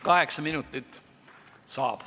Kaheksa minutit saab.